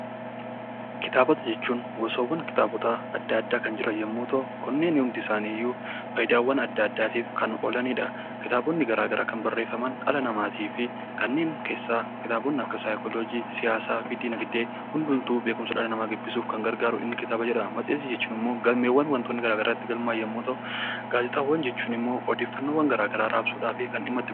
Kitaabota jechuun gosaawwan kitaabaa addaa addaa kan jiran yemmuu ta'uu, kanneen hundi isaanii iyyuu fayidaawwan ddaa addaaf kan oolanidha. Kitaabonni addaa addaa kan barreeffaman dhala namaatiif fi kanneen saayikooloojii, siyaasaa fi dinaagdee hundumtuu beekumsa dhala namaa gabbisuuf kan gargaarudha. Inni kitaaba jedhama. Matseetii jechuun immoo waantonni garaagaraa irratti galmaa'an yoo ta'u, gaazexaawwan jechuun immoo odeeffannoowwan garaagaraa raabsuudhaaf kan dhimma itti bahamudha.